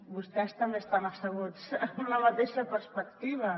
vostès també estan asseguts amb la mateixa perspectiva